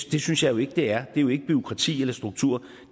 det synes jeg jo ikke det er det er jo ikke bureaukrati eller struktur